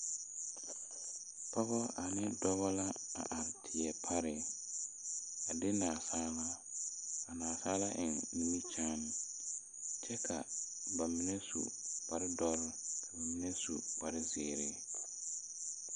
Pɔgɔ ane dɔbɔ la are tie pare a de naasaalaa a naasaalaa eŋ nimikyaane kyɛ ka ba mine au kparedɔre mine su kparezeere.